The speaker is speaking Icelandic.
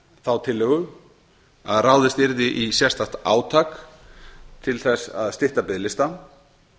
þá tillögu að ráðist yrði í sérstakt átak til að stytta biðlista